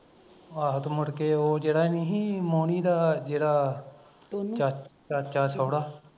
ਆਹੋ ਤੇ ਮੁੜ ਕੇ ਉਹ ਜਿਹੜਾ ਨੀ ਸੀ ਜਿਹੜਾ ਮੋਹਣੀ ਦਾ ਜਿਹੜਾ ਚਾਚਾ ਚਾਚਾ ਸਹੁਰਾ